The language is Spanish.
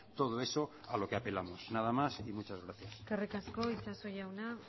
todo eso que apelamos nada más y muchas gracias eskerrik asko itxaso jauna